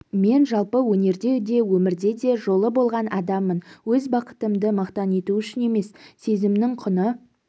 мен жалпы өнерде де өмірде де жолы болған адаммын өз бақытымды мақтану үшін емес сезімнің құны